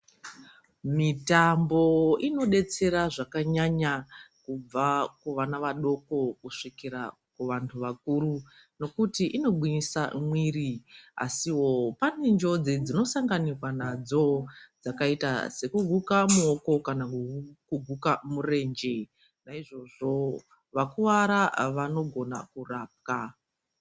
Mitambo inodetsera zvakanyanya kubva kuvana vadoko kusvikira kuvantu vakuru nokuti inogwinyisa mwiri, asiwo pane njodzi dzinosanganikwa nadzo dzakaita sekuguka muoko kana kuguka murenje. Naizvozvo vakuwara vanogona kurapwa.